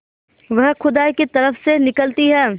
वह खुदा की तरफ से निकलती है